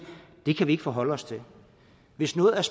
det kan vi ikke forholde os til hvis noget er